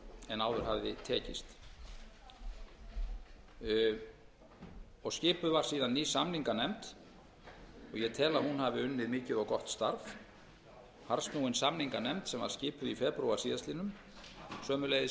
en áður hafði tekist skipuð var síðan ný samninganefnd og ég tel að hún hafi unnið mikið og gott starf harðsnúin samninganefnd sem var skipuð í febrúar síðastliðinn sömuleiðis